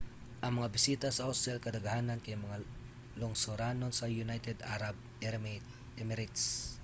ang mga bisita sa hostel kadaghanan kay mga lungsuranon sa united arab emirates